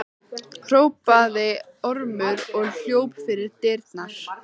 hrópaði Ormur og hljóp fyrir dyrnar.